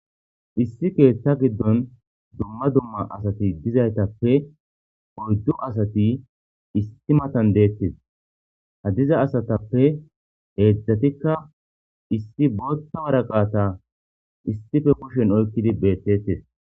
issi keetta giddon dumma dumma asati dizaytappe oyddu asati istimatan deettes ha diza asatappe heedzdzatikka issi bootta waraqata issife koshen oykkidi beettettes